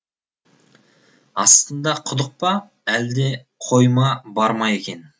астында құдық па әлде қойма бар ма екен